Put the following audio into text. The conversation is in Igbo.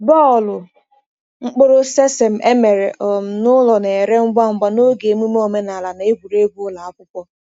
Bọọlụ mkpụrụ sesame e mere um n’ụlọ na-ere ngwa ngwa n’oge emume omenala na egwuregwu ụlọ akwụkwọ.